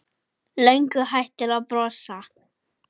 Löngu hættur að brosa.